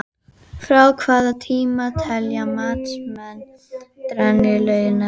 Það er byrjað að rigna og þeir herða gönguna.